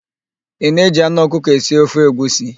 Ị na-eji anụ ọkụkọ esi ofe egwusi?